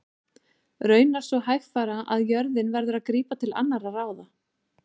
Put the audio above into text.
Raunar svo hægfara að jörðin verður að grípa til annarra ráða.